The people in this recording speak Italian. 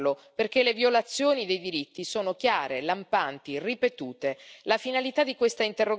Siamo qui per denunciarlo perché le violazioni dei diritti sono chiare, lampanti, ripetute.